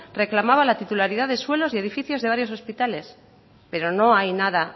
reclamaba la titularidad de suelos y edificios de varios hospitales pero no hay nada